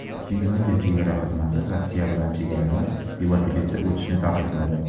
Finlyandiya chegara xizmati Rossiya bilan chegaradan velosipedda o‘tishni taqiqladi.